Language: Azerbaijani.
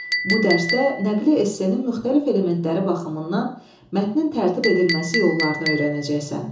Bu dərsdə nəqli essenin müxtəlif elementləri baxımından mətnin tərtib edilməsi yollarını öyrənəcəksən.